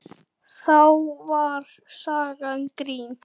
Þá var sagan grín.